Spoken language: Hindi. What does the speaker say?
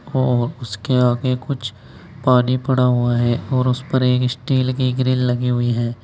और उसके आगे कुछ पानी पड़ा हुआ है और उस पर एक स्टील की ग्रिल लगी हुई है।